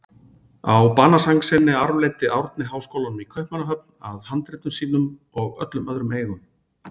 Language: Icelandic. Á banasæng sinni arfleiddi Árni háskólann í Kaupmannahöfn að handritum sínum og öllum öðrum eigum.